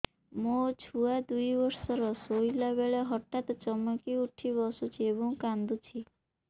ମୋ ଛୁଆ ଦୁଇ ବର୍ଷର ଶୋଇଲା ବେଳେ ହଠାତ୍ ଚମକି ଉଠି ବସୁଛି ଏବଂ କାଂଦୁଛି